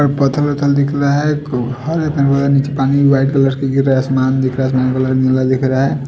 और पत्थर वत्थल दिख रहा है खूब नीचे पानी व्हाइट कलर की गिर रहा है आसमान दिख रहा है आसमान का कलर नीला दिख रहा है।